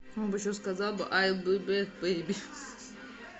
он бы еще сказал бы айл би бэк бейби